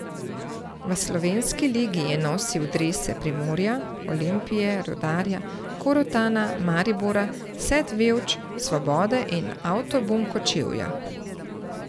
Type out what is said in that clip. V slovenski ligi je nosil drese Primorja, Olimpije, Rudarja, Korotana, Maribora, Set Vevč, Svobode in Avtobum Kočevja.